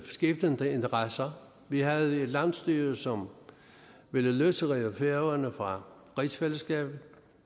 skiftende interesser vi havde et landsstyre som ville løsrive færøerne fra rigsfællesskabet